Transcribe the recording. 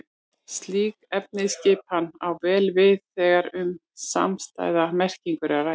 Slík efnisskipan á vel við þegar um samstæða merkingu er að ræða.